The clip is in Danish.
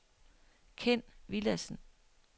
Ken Villadsen